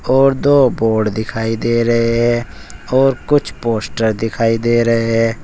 और दो बोर्ड दिखाई दे रहे हैं और कुछ पोस्टर दिखाई दे रहे हैं।